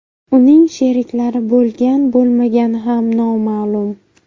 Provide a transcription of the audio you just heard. Uning sheriklari bo‘lgan-bo‘lmagani ham noma’lum.